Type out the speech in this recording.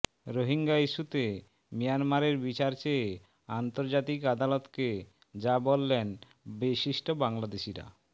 রোহিঙ্গা ইস্যুতে মিয়ানমারের বিচার চেয়ে আন্তর্জাতিক আদালতকে যা বললেন বিশিষ্ট বাংলাদেশীরা